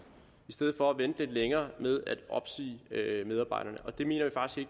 i stedet for at vente lidt længere med at opsige medarbejderne det mener